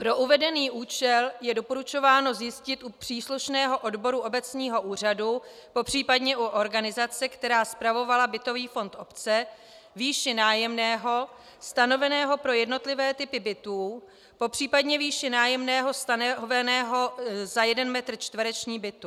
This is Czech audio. Pro uvedený účel je doporučováno zjistit u příslušného odboru obecního úřadu, popřípadě u organizace, která spravovala bytový fond obce, výši nájemného stanoveného pro jednotlivé typy bytů, popřípadě výši nájemného stanoveného za jeden metr čtvereční bytu.